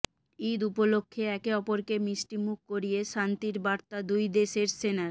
ইদ উপলক্ষে একে অপরকে মিষ্টি মুখ করিয়ে শান্তির বার্তা দুই দেশের সেনার